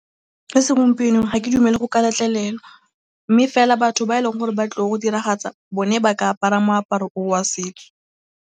Fa segompienong ga ke dumele go ka letlelelwa mme fela batho ba e leng gore ba tlile go diragatsa bone ba ka apara moaparo o wa setso.